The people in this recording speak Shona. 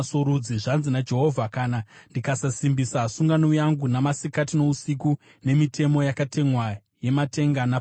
Zvanzi naJehovha: ‘Kana ndikasasimbisa sungano yangu namasikati nousiku nemitemo yakatemwa yematenga napasi,